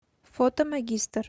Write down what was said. фото магистр